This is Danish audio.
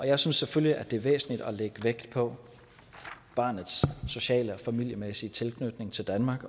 jeg synes selvfølgelig det er væsentligt at lægge vægt på barnets sociale og familiemæssige tilknytning til danmark